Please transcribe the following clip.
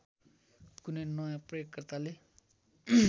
कुनै नयाँ प्रयोगकर्ताले